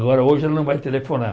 Agora hoje ela não vai telefonar.